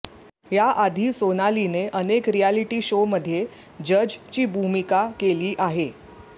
याआधी सोनालीने अनेक रिअॅलिटी शोमध्ये जजची भूमिका केली आहे